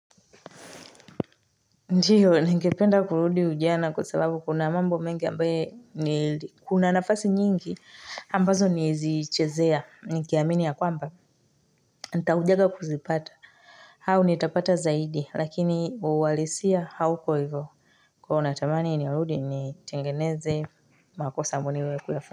Ndio, ningependa kurudi ujana kwa sababu kuna mambo mengi ambaye nili, kuna nafasi nyingi ambazo nilizichezea, nikiamini ya kwamba, nitaja kuzipata, au nitapata zaidi, lakini uhalisia hauko ivo, kwa hivo natamani nirudi nitengeneze makosa ambayo nimewahi kuyafanya.